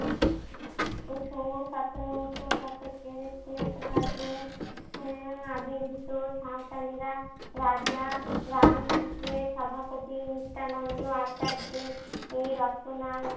এ সময় সতেরো শতকের শেষ ভাগে উম আবির্ভিত সাঁওতালরা রাজা রাম কৃষ্ণের সভাকবি নিত্যনন্দ আচার্যের এই রচনা